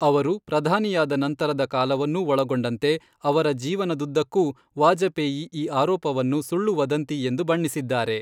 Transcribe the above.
ಅವರು ಪ್ರಧಾನಿಯಾದ ನಂತರದ ಕಾಲವನ್ನೂ ಒಳಗೊಂಡಂತೆ ಅವರ ಜೀವನದುದ್ದಕ್ಕೂ ವಾಜಪೇಯಿ ಈ ಆರೋಪವನ್ನು ಸುಳ್ಳು ವದಂತಿ ಎಂದು ಬಣ್ಣಿಸಿದ್ದಾರೆ.